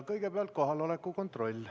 Kõigepealt teeme kohaloleku kontrolli.